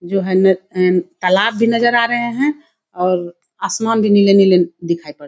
जो है नेक एन तालाब भी नजर आ रहें है और आसमान भी नीले-नीले दिखाई पड़ --